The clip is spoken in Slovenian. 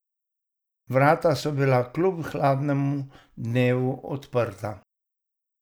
Vrata so bila kljub hladnemu dnevu odprta.